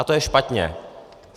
A to je špatně.